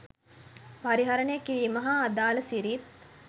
පරිහරණය කිරීම හා අදාල සිරිත්